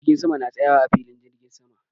Jirgin sama na tsayawa a filin jirgin sama.